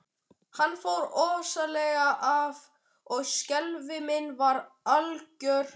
Hann fór óðslega að og skelfing mín var algjör.